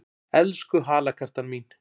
Elsku halakartan mín!